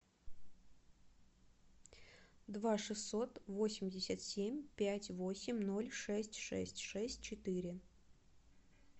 два шестьсот восемьдесят семь пять восемь ноль шесть шесть шесть четыре